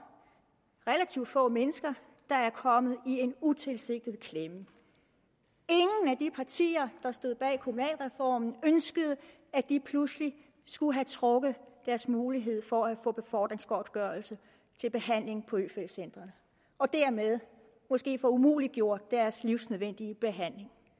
relativt få mennesker der er kommet i en utilsigtet ingen af de partier der stod bag kommunalreformen ønskede at de pludselig skulle have trukket deres mulighed for at få befordringsgodtgørelse til behandling på øfeldt centret og dermed måske få umuliggjort deres livsnødvendige behandling